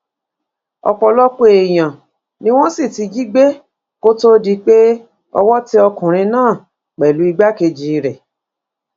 ọpọlọpọ èèyàn ni wọn sì ti jí gbé kó tóó di pé owó tẹ ọkùnrin náà pẹlú igbákejì rẹ